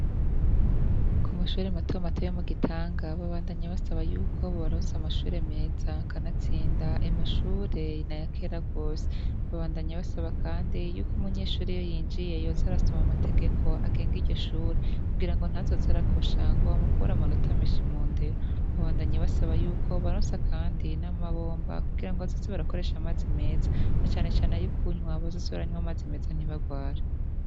Ku mashure matomato yomu gitanga bandanya basaba yuko bobaronse amashure meza kandi atsinda, ayo mashure na yakera gose babandanya basaba kandi yuko umunyeshuri iyo yinjiye yoza arasoma amategeko agenge iryo shure kugira ngo ntazoze arakosha ngo bamukure amanota meshi mu ndero babandanya basaba yuko bobarosa kandi n'amabomba kugira ngo bazoze barakoresha amazi meza na canecane ayo kunywa bazoze baranywa amazi meza ntibarware.